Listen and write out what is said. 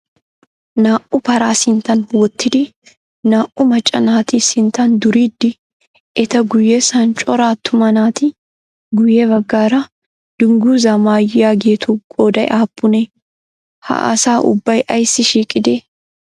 Naa"u paraa sinttan wottidi naa"u macca naati sinttan duriiddi eta guyyessan cora attuma naati guyye baggaara dungguzzaa mayaageetu qooday aappunee? Ha asa ubbay ayissi shiiqidee?